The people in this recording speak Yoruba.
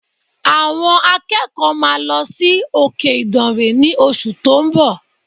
Àwọn akẹ́kọ̀ọ́ máa lọ sí òkè ìdànrè ní oṣù tó ń bọ̀